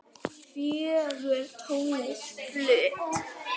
Fögur tónlist flutt.